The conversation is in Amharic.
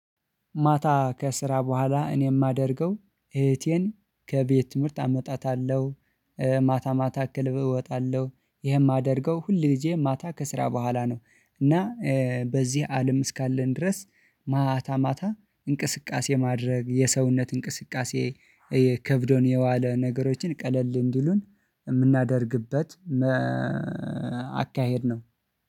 ማታ ከስራ በኋላ እኔ እማደርገው እህቴን ከቤት ትምህርት አመጣታለሁ። ማታ ማታ ክልብ እወጣለሁ ይሄም ማደርገው ሁል ጊዜ ማታ ከስራ በኋላ ነው። እና በዚህ አለም እስካለን ድረስ ማታ ማታ እንቅስቃሴ ማድረግ የሰውነት እንቅስቃሴ የ ከብዶን የዋለ ነገሮችን ቀለል እንዲሉን እምናደርግበት። አካሄድ ነው